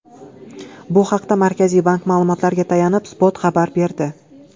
Bu haqda Markaziy bank ma’lumotlariga tayanib, Spot xabar berdi .